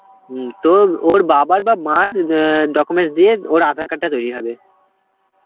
হম, তো ওর বাবার বা মার অ্যাঁ documents দিয়ে ওর aadhar card টা তৈরি হবে.